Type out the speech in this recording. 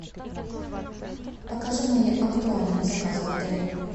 покажи мои актуальные заказы в отеле